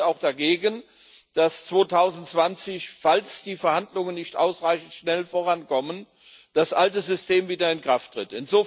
Wir sind auch dagegen, dass 2020 falls die Verhandlungen nicht ausreichend schnell vorankommen das alte System wieder in Kraft tritt.